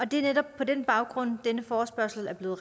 det er netop på den baggrund denne forespørgsel er blevet